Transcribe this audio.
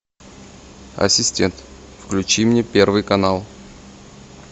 ассистент включи мне первый канал